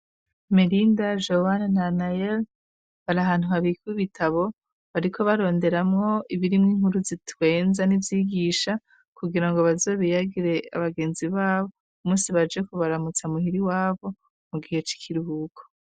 Melinda ,Johana na Anael bari ahantu habikib ibitabo bariko baronderamwo ibirimw inkuru zitwenza n'izigisha kugira ngo bazobiyagire abagenzi babo umunsi baje kubaramutsa muhiri wabo mu gihe c'ikiruhuko.